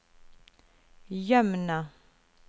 Jømna